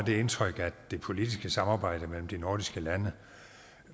det indtryk at det politiske samarbejde mellem de nordiske lande